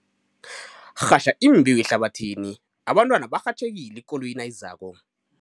Rhatjha imbewu ehlabathini, abantwana barhatjhekile ikoloyi nayizako.